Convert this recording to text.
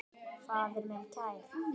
Faðir minn kær.